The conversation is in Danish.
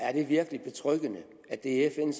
er det virkelig betryggende at det er fn